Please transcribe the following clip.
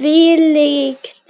Hvílíkt